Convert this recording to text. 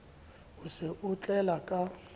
o se o ntlela ka